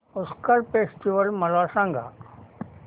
Pushkar festival मला सांग